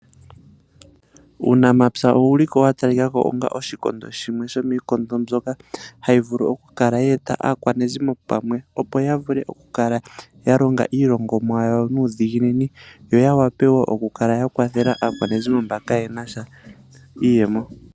Uunamapya owu li wa talika ko onga shimwe sho miikondo mbyoka hayi vulu okukala ye eta aakwashigwana pamwe opo ya vule okukala ya longomwa yawo nuudhiginini yo ya vule wo okukala ya kwathela aakwashigwana mboka kayena sha iiyemo.